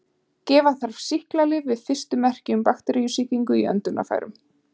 Gefa þarf sýklalyf við fyrstu merki um bakteríusýkingu í öndunarfærum.